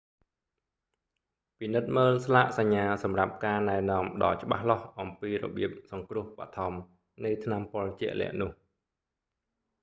ពិនិត្យមើលស្លាកសញ្ញាសម្រាប់ការណែនាំដ៏ច្បាស់លាស់អំពីរបៀបសង្រ្គោះបឋមរនៃថ្នាំពុលជាក់លាក់នោះ